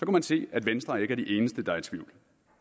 man se at venstre ikke er de eneste der er i tvivl